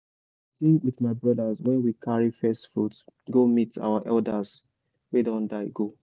i dey sing with my brothers when we carry first fruit go meet our elders wey don die go.